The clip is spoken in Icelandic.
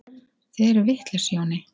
Þið eruð vitlaus, Jóni